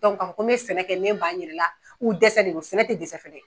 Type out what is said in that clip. k'a fɔ ko n bɛ sɛnɛ kɛ me b'an yɛrɛ la dɛsɛ de do sɛnɛ tɛ dɛsɛ fɛn ye.